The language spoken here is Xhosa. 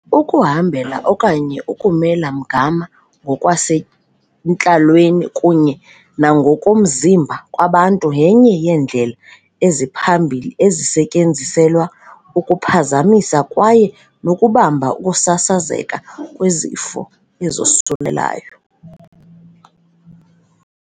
Ukuhambela okanye ukumela mgama ngokwasentlalweni kunye nangokomzimba kwabantu yenye yeendlela eziphambili ezisetyenziselwa ukuphazamisa kwaye nokubamba ukusasazeka kwezifo ezosulelayo.